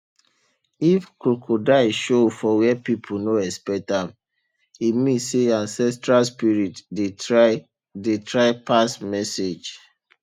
if crocodile show for where people no expect am e mean say ancestral spirit dey try dey try pass message